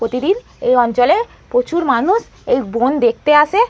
প্রতিদিন এই অঞ্চলে প্রচুর মানুষ এই বোন দেখতে আসে।